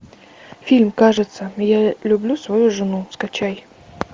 фильм кажется я люблю свою жену скачай